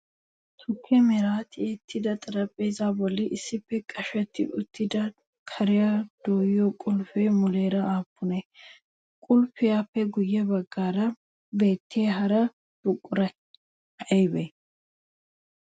Tukke meran tiyettida xarphpheezaa bolli issippe qashetti uttida kariyaa dooyiyoo qulffetii muleera aappunee? Qulffetuppe guyye baggaara beettiyaa hara buqurayi ayibee?